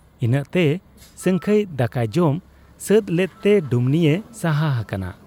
ᱤᱱᱟᱹᱜᱛᱮ ᱥᱟᱹᱝᱠᱷᱟᱹᱭ ᱫᱟᱠᱟᱭ ᱡᱚᱢ ᱥᱟᱹᱛ ᱞᱮᱫ ᱛᱮ ᱰᱩᱢᱱᱤᱭᱮ ᱥᱟᱦᱟ ᱦᱟᱠᱟᱱᱟ ᱾